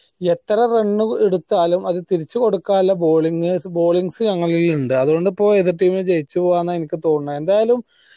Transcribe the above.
യെത്ര run എടുത്താലും അത് തിരിച്ച് കൊടുക്കാനുള്ള balling ballings ഞങ്ങളെ കയ്യിലുണ്ട് അത്കൊണ്ട് ഇപ്പൊ യേത് team ജയിച്ച് പോവാ എനിക്ക് തോന്നുന്നേ